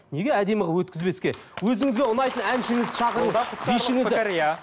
неге әдемі қылып өткізбеске өзіңізге ұнайтын әншіңізді шақырып бишіңізді